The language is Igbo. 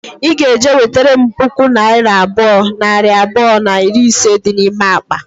I ga-eje nwetara m puku naira abụọ, nari abụọ na iri ise dị n'ime akpa